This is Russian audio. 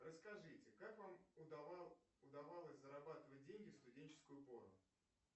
расскажите как вам удавалось зарабатывать деньги в студенческую пору